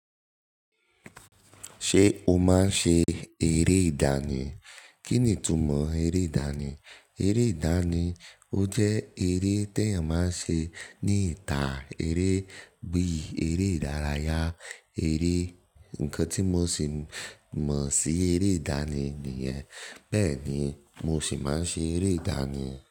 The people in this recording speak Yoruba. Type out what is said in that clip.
Ṣé o máa ń ṣe eré ìdánì? Kí ni ìtumọ̀ eré ìdánì? Eré ìdánì, ó jẹ́ eré tí èèyàn máa ń ṣe ní ìta. Eré bí eré ìdárayá, eré-- nǹkan tí mo sì mọ̀ sí eré ìdánì nìyẹn. Bẹ́ẹ̀ ni, mo sì máa ń ṣe eré ìdánì.